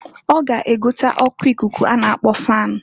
Ọ ga egote oku ikuku a na-akpọ fan.